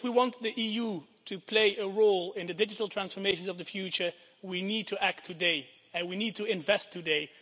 If we want the EU to play a role in the digital transformations of the future we need to act today and we need to invest today.